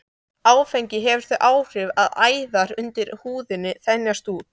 Áfengi hefur þau áhrif að æðar undir húðinni þenjast út.